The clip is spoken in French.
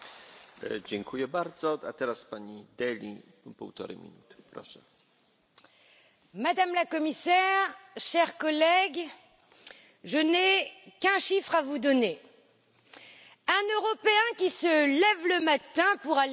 Monsieur le Président, Madame la Commissaire, chers collègues, je n'ai qu'un chiffre à vous donner un Européen qui se lève le matin pour aller travailler a neuf chances sur dix